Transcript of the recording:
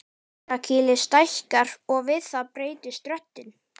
Barkakýlið stækkar og við það breytist röddin.